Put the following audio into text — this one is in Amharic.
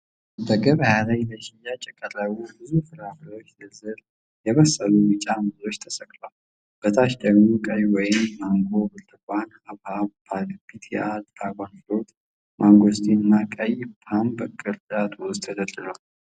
በገበያ ላይ ለሽያጭ የቀረቡ ብዙ ፍራፍሬዎች ዝርዝር። የበሰሉ ቢጫ ሙዞች ተሰቅለዋል። በታች ደግሞ ቀይ ወይን፣ ማንጎ፣ ብርቱካን፣ ሐብሐብ፣ ፒታያ (ድራጎን ፍሩት)፣ ማንጎስቲን እና ቀይ ፖም በቅርጫቶች ውስጥ ተደርድረዋል።